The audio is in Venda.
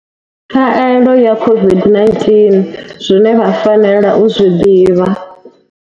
Khaelo ya COVID-19z wine vha fanela u zwi ḓivha.